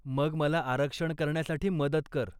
मग मला आरक्षण करण्यासाठी मदत कर.